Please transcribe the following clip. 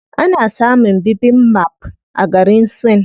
Ana samun bibimbap a garin Sin.